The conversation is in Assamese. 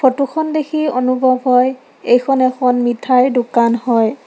ফটোখন দেখি অনুভৱ হয় এইখন এখন মিঠাইৰ দোকান হয়।